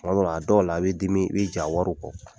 Tuma dɔ la, a dɔw la, i bɛ dimi i bɛ jɛn a wari kɔ.